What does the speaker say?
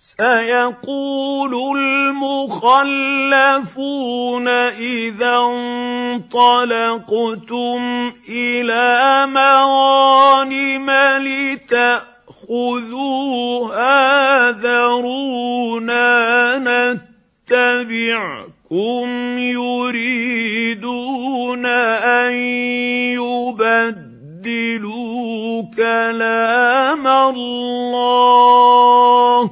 سَيَقُولُ الْمُخَلَّفُونَ إِذَا انطَلَقْتُمْ إِلَىٰ مَغَانِمَ لِتَأْخُذُوهَا ذَرُونَا نَتَّبِعْكُمْ ۖ يُرِيدُونَ أَن يُبَدِّلُوا كَلَامَ اللَّهِ ۚ